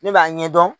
Ne b'a ɲɛdɔn